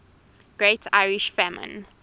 great irish famine